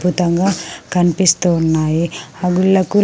అద్భుతంగా కనిపిస్తున్నాయి. అంగులకు --